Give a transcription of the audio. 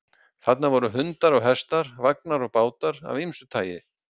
Þarna voru hundar og hestar, vagnar og bátar af ýmsu tagi.